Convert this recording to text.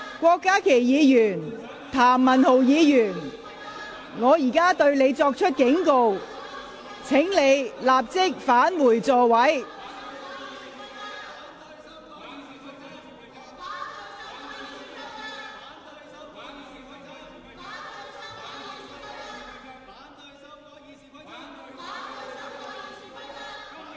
郭家麒議員、譚文豪議員，我現在向你們作出警告，請立即返回座位。